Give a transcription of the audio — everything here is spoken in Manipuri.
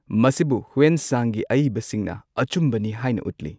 ꯃꯁꯤꯕꯨ ꯍꯤꯎꯏꯟ ꯁꯥꯡꯒꯤ ꯑꯏꯕꯁꯤꯡꯅ ꯑꯆꯨꯝꯕꯅꯤ ꯍꯥꯏꯅ ꯎꯠꯂꯤ꯫